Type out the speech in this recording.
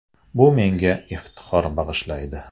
Bu menga iftixor bag‘ishlaydi.